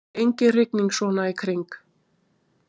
engin rigning svona í kring